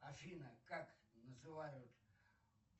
афина как называют